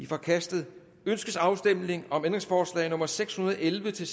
forkastet ønskes afstemning om ændringsforslag nummer seks hundrede og elleve til